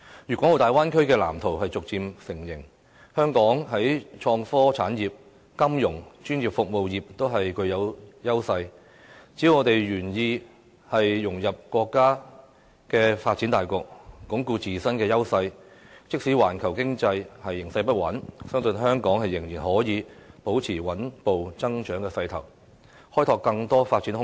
粵港澳大灣區的藍圖已逐漸成形，香港在創科產業、金融業、專業服務業等均具有優勢，只要我們願意融入國家發展大局，鞏固自身的優勢，即使環球經濟形勢不穩，相信香港仍然可以保持穩步增長的勢頭，開拓更多發展空間。